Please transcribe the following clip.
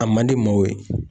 A man di ma o ye.